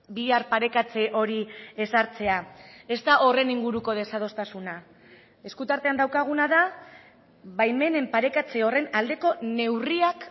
bihar parekatze hori ezartzea ez da horren inguruko desadostasuna esku tartean daukaguna da baimenen parekatze horren aldeko neurriak